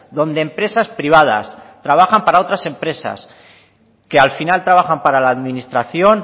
donde empresas privadas trabajan para otras empresas que al final trabaja para la administración